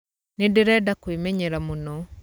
Nĩndĩrenda kũĩmenyera mũno.